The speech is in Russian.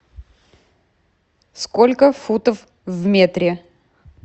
сколько футов в метре